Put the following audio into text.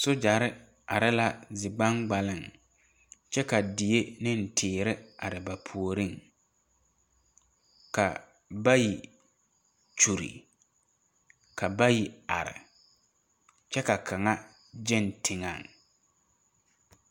Sogyɛrre are la zi gbaŋgbaleŋ kyɛ ka die neŋ teere are ba puoriŋ ka bayi kyure ka bayi are kyɛ ka kaŋa gyɛŋ teŋɛŋ.